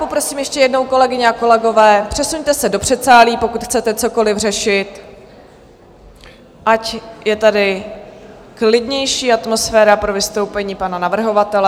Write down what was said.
Poprosím ještě jednou, kolegyně a kolegové, přesuňte se do předsálí, pokud chcete cokoli řešit, ať je tady klidnější atmosféra pro vystoupení pana navrhovatele.